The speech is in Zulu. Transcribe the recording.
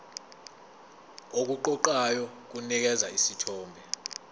okuqoqayo kunikeza isithombe